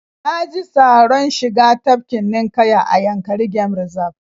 Na ji taoron shiga tafkin ninƙaya a Yankari game Reserve